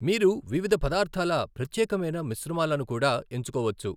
మీరు వివిధ పదార్థాల ప్రత్యేకమైన మిశ్రమాలను కూడా ఎంచుకోవచ్చు.